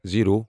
zero